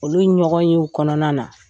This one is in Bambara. Olu ɲɔgɔnyew kɔnɔna na